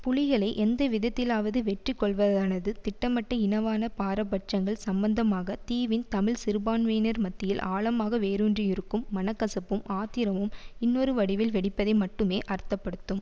புலிகளை எந்தவிதத்திலாவது வெற்றிகொள்வதானது திட்டமிட்ட இனவாத பாரபட்சங்கள் சம்பந்தமாக தீவின் தமிழ் சிறுபான்மையினர் மத்தியில் ஆழமாக வேரூன்றியிருக்கும் மனக்கசப்பும் ஆத்திரமும் இன்னொரு வடிவில் வெடிப்பதை மட்டுமே அர்த்தப்படுத்தும்